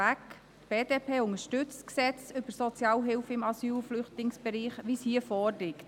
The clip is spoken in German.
Die BDP unterstützt das Gesetz zur Sozialhilfe im Asyl- und Flüchtlingsbereich, so wie es hier vorliegt.